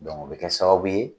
o bɛ kɛ sababu ye